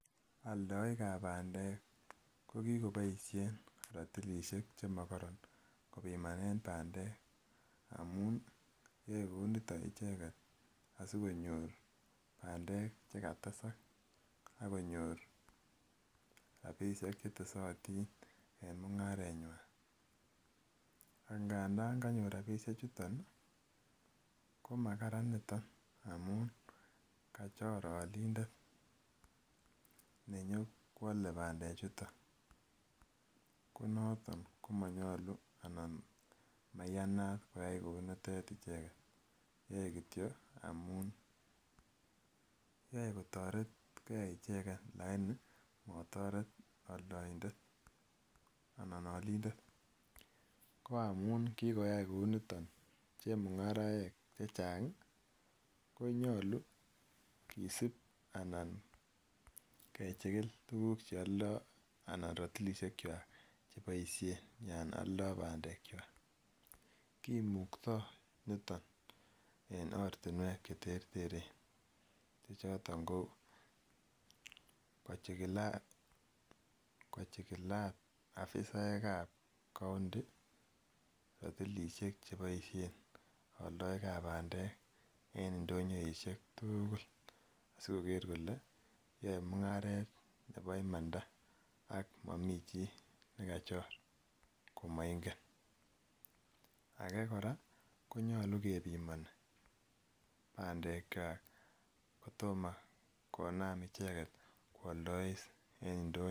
Aldaik ab bandek kokikobaishen ratilishek chimakaran kebimanen bandek amun yae Kouniton icheket asikonyor bandek chikatesak akonyor rabishek chetesatin en mungarenywan angandan nmganyor rabishek chuton komakararan niton amun kachor alindet nenyokwale bandek chuton konaton komanyalu anan koyanat koyai Kouniton icheket kityo amunyoe kotaret gei icheket lakini komataret aldaindet anan alindetkoamunbkikoyai Kouniton chemungaraek chechang konyalu kesib alan kechikil tuguk cheyando anan ratilishek chwak cheboishen anan Alda bandek chwak kimukto niton en oratinwek cheterteren chechoton KO chikilat afisaek ab county ratilishek chabaishen en indonyoishek tuguk sigoker kokebyai mungaret Nebo imanda ak Mami chi nekachor maingenage koraa konyalu kebiman bandek chwak kotoma konam icheket kwaldais en ndonyo